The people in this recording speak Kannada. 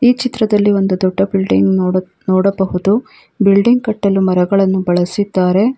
ಈ ಚಿತ್ರದಲ್ಲಿ ಒಂದು ದೊಡ್ಡ ಬಿಲ್ಡಿಂಗ್ ನೋಡ ನೋಡಬಹುದು ಬಿಲ್ಡಿಂಗ್ ಕಟ್ಟಲು ಮರಗಳನ್ನು ಬಳಸಿದ್ದಾರೆ.